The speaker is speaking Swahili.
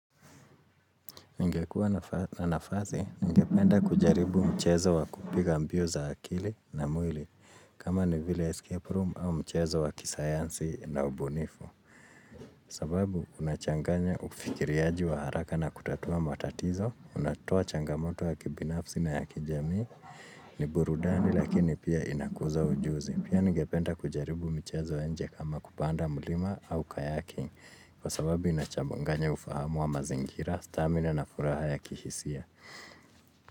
Ningekuwa na nafasi, ningependa kujaribu mchezo wa kupiga mbio za akili na mwili, kama ni vile escape room au mchezo wa kisayansi na ubunifu. Sababu, unachanganya ufikiriaji wa haraka na kutatua matatizo, unatoa changamoto ya kibinafsi na ya kijamii ni burudani lakini pia inakuza ujuzi. Pia ningependa kujaribu mchezo ya nje kama kupanda mlima au kayaking, kwa sababu inachamnganya ufahamu wa mazingira, stamina na furaha ya kihisia.